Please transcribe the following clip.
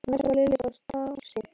En mest varð Lillu þó starsýnt á